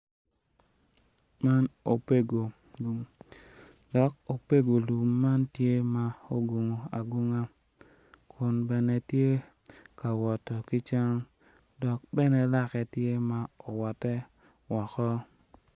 Man opego lum dok opego lum man tye ma ogungu agunga kun bene tye ka wot ki cam dok bene lake tye ma owotte woko